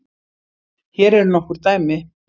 Hér eru nokkur dæmi